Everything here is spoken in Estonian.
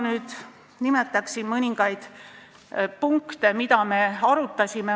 Nüüd ma nimetan mõningaid punkte, mida me arutasime.